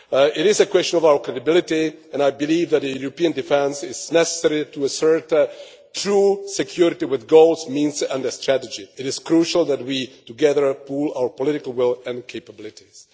It is a question of our credibility and I believe that a European defence is necessary to assert true security with goals, means and a strategy. It is crucial that together we pool our political will and capabilities.